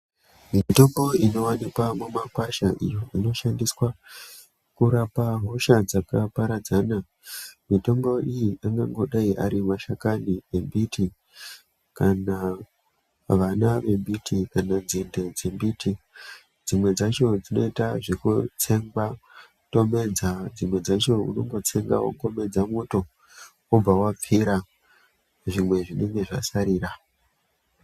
Mitombo inowanikwa mumakwasha iyo inoshandiswa kurapa hosha dzakaparadzana mitombo iyi inombodai ari mashakani embiti kana vana vembiti kana nzinde dzembiti dzimwe dzacho dzinoitwa zvekutsengwa tomedza dzimwe dzacho totsenga tomedza muto topfira zimwe zvacho zvinenge zvasarira.